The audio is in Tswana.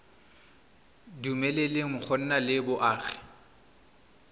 dumeleleng go nna le boagi